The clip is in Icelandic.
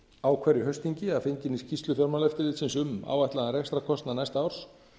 á hverju haustþingi að fenginni skýrslu fjármálaeftirlitsins um áætlaðan rekstrarkostnað næsta árs